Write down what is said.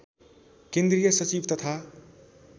केन्द्रीय सचिव तथा